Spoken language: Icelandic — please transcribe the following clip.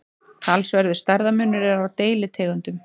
talsverður stærðarmunur er á deilitegundum